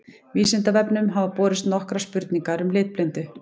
Vísindavefnum hafa borist nokkrar spurningar um litblindu.